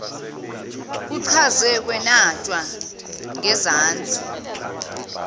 kuchazwe kwenatshwa ngezansi